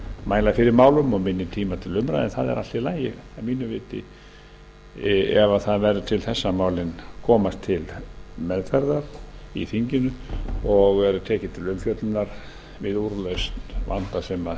mæla fyrir málum og minni tíma til umræðu en það er allt í lagi að mínu viti ef það verður til þess að málin komast til meðferðar í þinginu og eru tekin til umfjöllunar við úrlausn vanda sem